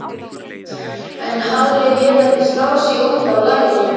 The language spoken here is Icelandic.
En Halli lét ekki slá sig út af laginu.